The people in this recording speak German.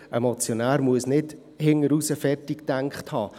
Ein Motionär muss nicht bis hinten raus alles zu Ende gedacht haben.